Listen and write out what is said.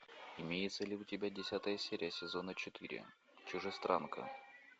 имеется ли у тебя десятая серия сезона четыре чужестранка